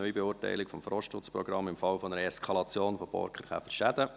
«Neubeurteilung des Forstschutzprogramms im Falle einer Eskalation der Borkenkäferschäden».